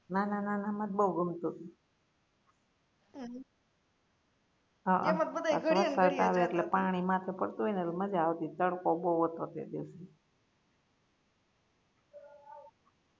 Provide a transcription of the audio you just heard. નાના નાના મા જ બઉ ગમતુ તુ પાણી માથે પડતું હોય ને તો મજા આવતી તડકો બઉ હતો એટલે